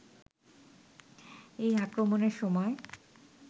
এই আক্রমণের সময়